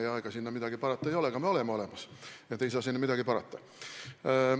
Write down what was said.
Ega sinna midagi parata ei ole, aga me oleme olemas ja te ei saa sinna midagi parata.